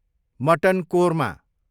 mutton korma